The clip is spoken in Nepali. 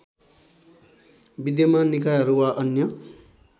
विद्यमान निकायहरू वा अन्य